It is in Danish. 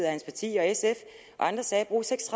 og hans parti og sf og andre sagde